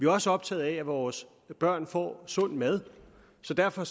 også optaget af at vores børn får sund mad så derfor